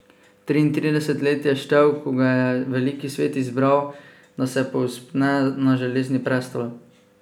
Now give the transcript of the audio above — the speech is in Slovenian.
Triintrideset let je štel, ko ga je veliki svet izbral, da se povzpne na Železni prestol.